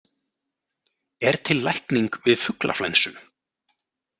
Er til lækning við fuglaflensu?